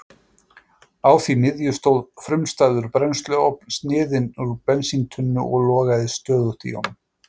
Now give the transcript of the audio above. Á því miðju stóð frumstæður brennsluofn, sniðinn úr bensíntunnu og logaði stöðugt í honum.